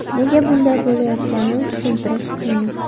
Nega bunday bo‘layotganini tushuntirish qiyin.